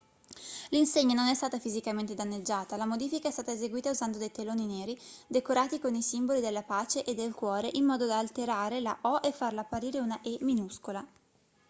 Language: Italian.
l'insegna non è stata fisicamente danneggiata la modifica è stata eseguita usando dei teloni neri decorati con i simboli della pace e del cuore in modo da alterare la o e farla apparire una e minuscola